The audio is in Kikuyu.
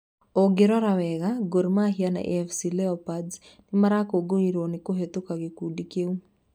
ũngĩrora wega, Gor Mahia na AFC Leopards nĩmarakungũĩrwo ni kũhĩtũka gĩkundi kĩũ.